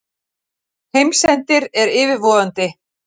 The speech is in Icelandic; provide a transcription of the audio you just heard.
Heimsendir er yfirvofandi.